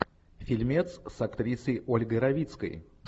фильмец с актрисой ольгой равицкой